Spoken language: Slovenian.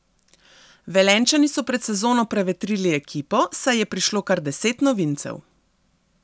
Velenjčani so pred sezono prevetrili ekipo, saj je prišlo kar deset novincev.